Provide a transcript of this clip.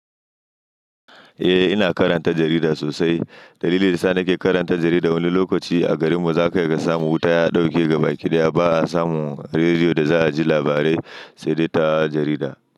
Eh, ina karanta jarida sosai. Dalilin da yasa nake karanta jarida wani lokaci a garin mu zaka iya ka samu wuta ya dauke gaba kidaya, ba'a samu rediyo da za a ji labarai, sai dai ta jarida.